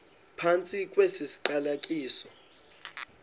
phantsi kwesi siqalekiso